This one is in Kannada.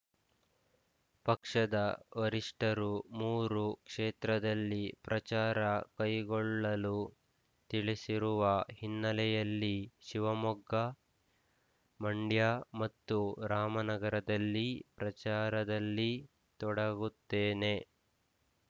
ಪಕ್ಷದ ವರಿಷ್ಠರು ಮೂರು ಕ್ಷೇತ್ರದಲ್ಲಿ ಪ್ರಚಾರ ಕೈಗೊಳ್ಳಲು ತಿಳಿಸಿರುವ ಹಿನ್ನೆಲೆಯಲ್ಲಿ ಶಿವಮೊಗ್ಗ ಮಂಡ್ಯ ಮತ್ತು ರಾಮನಗರದಲ್ಲಿ ಪ್ರಚಾರದಲ್ಲಿ ತೊಡಗುತ್ತೇನೆ